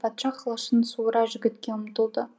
патша қылышын суыра жігітке ұмтылды